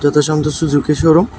যতো Santosh Suzuki showroom.